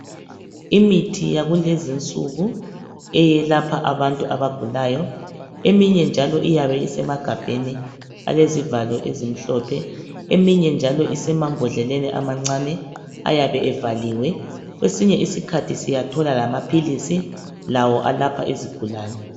Imithi yakulezinsuku eyelapha abantu abagulayo. Eminye njalo iyabe isemagabheni alezivalo ezimhlophe, eminye njalo isemambodleleni amancane ayabe evaliwe. Kwesinye iskhathi siyathola lamaphilisi lawo alapha izigulane.